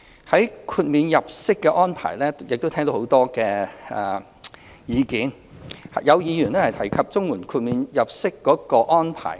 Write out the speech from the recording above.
在豁免入息安排方面，我們亦聽到很多議員提及綜援豁免計算入息的安排。